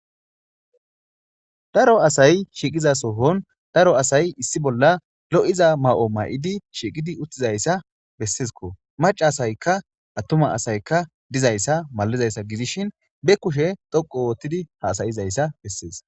Daro asay shiiqiza sohon daro asay issi bolla lo7iza ma7o may7idi, shiiqidi uttizayssa bessezikko maca asaykka attuma asaykka dizayssa malizayssa gizishin be kushe dhoqu oottidi haasayizayssa bessees.